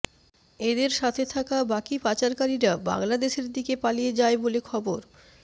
এদের সাথে থাকা বাকি পাচারকারীরা বাংলাদেশের দিকে পালিয়ে যায় বলে খবর